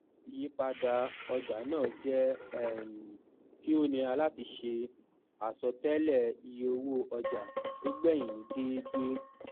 ìyípadà ọjà náà jẹ um kí ó nira láti ṣe àsọtéélẹ ìye owó ọjà tó gbẹyìn ní dẹédé